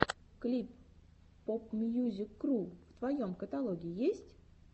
клип попмьюзикру в твоем каталоге есть